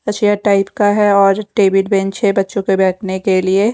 Type का है और टेबल बेंच है बच्चों के बैठने के लिए।